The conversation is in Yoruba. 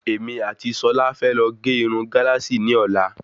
Èmi àti Sola fẹ lọ ge irun Galasi ni ọ̀la